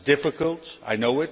This is difficult, I know.